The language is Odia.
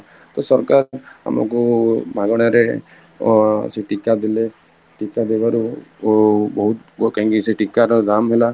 ତ ସରକାର ଆମକୁ ମାଗଣାରେ ଅ ଆଜି ଟୀକା ଦେଲେ ଟୀକା ଦେବାରୁ ବହୁତ, କାହିଁକି ସେଇ ଟୀକାର ଦାମ ହେଲା